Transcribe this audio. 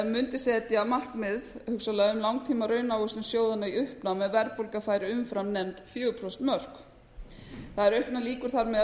mundi setja markmið hugsanlega um langtíma raunávöxtun sjóðanna í uppnám ef verðbólga færi umfram nefnd fjögurra prósenta mörk það eru auknar lýkur þar með að